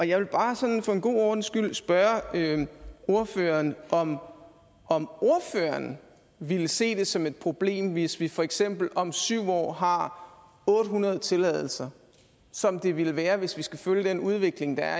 jeg vil bare sådan for god ordens skyld spørge ordføreren om om ordføreren vil se det som et problem hvis vi for eksempel om syv år har otte hundrede tilladelser som det ville være hvis vi skal følge den udvikling der